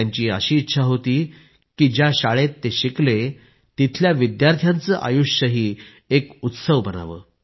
त्यांची इच्छा होती की ज्या शाळेत ते शिकले तिथल्या विद्यार्थ्यांचे आयुष्यही एक उत्सव बनावे